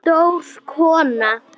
Stór kona.